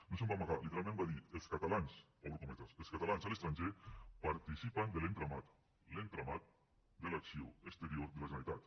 no se’n va amagar literalment va dir obro cometes els catalans a l’estranger participen de l’entramat l’entramat de l’acció exterior de la generalitat